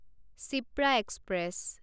Shipra express